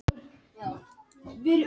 Kæru Gylfa vísað frá